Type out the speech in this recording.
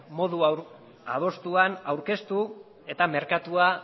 modu adostuan aurkeztu eta merkatua